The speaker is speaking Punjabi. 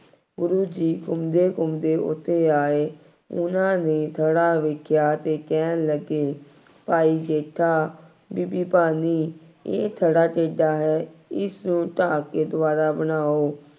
ਗੁਰੂ ਜੀ ਘੁੰਮਦੇ ਘੁੰਮਦੇ ਉੱਥੇ ਆਏ। ਉਹਨਾ ਨੇ ਥੜ੍ਹਾ ਵੇਖਿਆ ਅਤੇ ਕਹਿਣ ਲੱਗੇ, ਭਾਈ ਜੇਠਾ ਬੀਬੀ ਭਾਨੀ ਇਹ ਥੜ੍ਹਾ ਕਿਸਦਾ ਹੈ। ਇਸਨੂੰ ਢਾਅ ਕੇ ਦੁਬਾਰਾ ਬਣਾਉ।